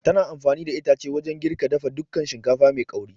Tana amfani da itace wajan girka dafa dukan shinkafa mai ƙauri